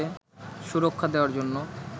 সুরক্ষা দেওয়ার জন্য